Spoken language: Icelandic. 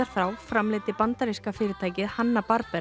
framleiddi bandaríska fyrirtækið Hanna